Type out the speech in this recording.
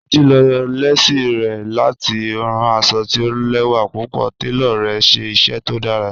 Títi ló lẹ̀sí rẹ̀ láti ránn àṣọ̀ tì ò lẹwa púpọ̀, tẹló rẹ̀ ṣẹ iṣẹ tó dàrá.